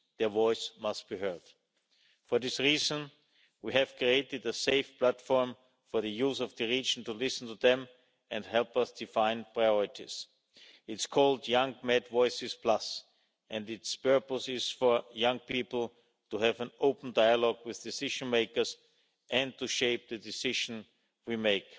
Their voice must be heard. For this reason, we have created a safe platform for the youth of the region, in order to listen to them and help us to define priorities. It's called Young Med Voices Plus and its purpose is for young people to have an open dialogue with decision makers and to shape the decision we